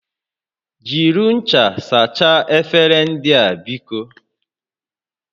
Jiri ncha sachaa efere ndị a biko!